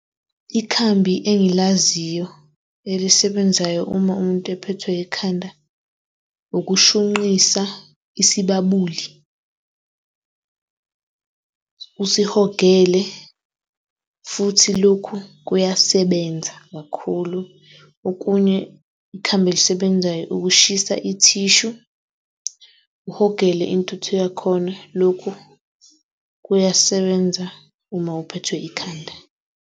Ikhambi engilaziyo elisebenzayo uma umuntu ephethwe ikhanda, ukushunqisa isibabuli, usihogele futhi lokhu kuyasebenza kakhulu. Okunye, ikhambi elisebenzayo ukushisa i-tissue uhogele intuthu yakhona lokhu kusebenza uma uphethwe ikhanda.